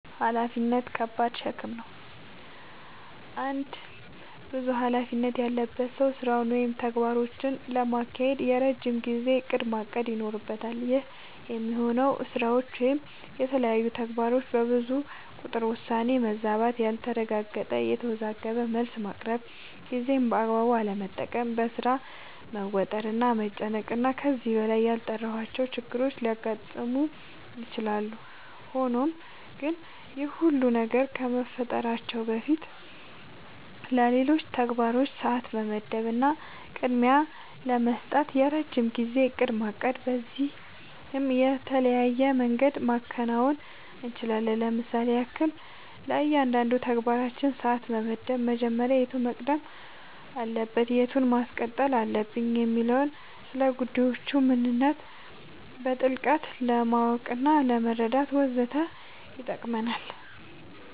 ኃላፊነት ከባድ ሸክም ነው። አንድ ብዙ ኃላፊነት ያለበት ሰው ስራውን ወይም ተግባራቶቹን ለማካሄድ የረጅም ጊዜ እቅድ ማቀድ ይኖርበታል። ይህ የሚሆነው ስራዎች ወይም የተለያዩ ተግባራቶች በብዙ ቁጥር የውሳኔ መዛባት ያልተረጋገጠ፣ የተወዘጋገበ መልስ ማቅረብ፣ ጊዜን በአግባቡ አለመጠቀም፣ በሥራ መወጠር እና መጨናነቅ እና ከዚህ በላይ ያልጠራሁዋቸው ችግሮች ሊያጋጥሙ ይችላሉ። ሆኖም ግን ይህ ሁሉ ነገር ከመፈጠራቸው በፊትለሌሎች ተግባራቶች ሰዓት ለመመደብ እና ቅድሚያ ለመስጠት የረጅም ጊዜ እቅድ ማቀድ በዚህም በተለያየ መንገድ ማከናወን እንችላለኝ ለምሳሌም ያክል፦ ለእያንዳንዱ ተግባራችን ሰዓት መመደብ መጀመሪያ የቱ መቅደም አለበት የቱን ማስቀጠል አለብኝ የሚለውን፣ ስለጉዳዮቹ ምንነት በጥልቀት ለማወቅናለመረዳት ወዘተ ይጠቅመናል።